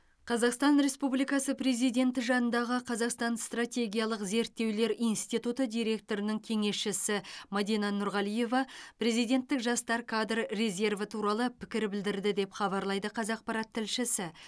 қазақстан республикасы президенті жанындағы қазақстан стратегиялық зерттеулер институты директорының кеңесшісі мадина нұрғалиева президенттік жастар кадр резерві туралы пікір білдірді деп хабарлайды қазақпарат тілшісі